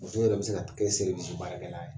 Muso yɛrɛ be se ka t kɛ baarakɛla ye.